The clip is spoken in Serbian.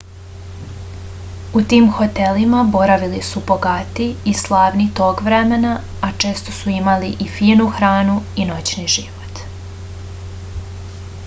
u tim hotelima boravili su bogati i slavni tog vremena a često su imali i finu hranu i noćni život